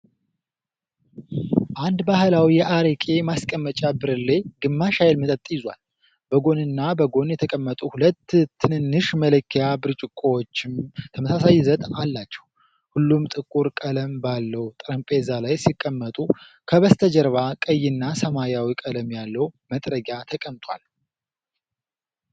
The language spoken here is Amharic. አንድ ባህላዊ የአረቄ ማስቀመጫ ብርሌ ግማሽ ያህል መጠጥ ይዟል፡፡ በጎንና በጎኑ የተቀመጡ ሁለት ትንንሽ መለኪያ ብርጭቆዎችም ተመሳሳይ ይዘት አላቸው፡፡ ሁሉም ጥቁር ቀለም ባለው ጠረጴዛ ላይ ሲቀመጡ፤ ከበስተጀርባ ቀይና ሰማያዊ ቀለም ያለው መጥረጊያ ተቀምጧል፡፡